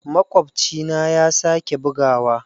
Makwabcina ya sake buguwa.